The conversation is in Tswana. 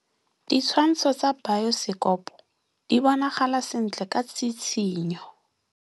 Ditshwantshô tsa biosekopo di bonagala sentle ka tshitshinyô.